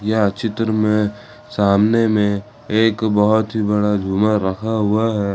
यह चित्र में सामने में सामने में एक बहुत ही बड़ा झूमर रखा हुआ है।